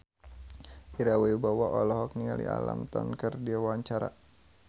Ira Wibowo olohok ningali Alam Tam keur diwawancara